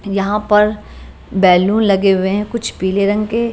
यहां पर बैलून लगे हुए हैं कुछ पीले रंग के।